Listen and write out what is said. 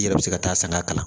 I yɛrɛ bɛ se ka taa sanga kalan